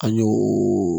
An y'o